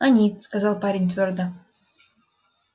они сказал парень твёрдо